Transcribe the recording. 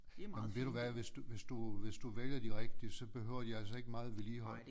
Jamen ved du hvad hvis du hvis du hvis du vælger de rigtige så behøver de altså ikke meget vedligehold